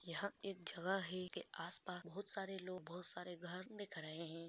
यहाँ एक जगह है इसके आस-पास बहोत सारे लोग बहोत सारे घर दिख रहे है।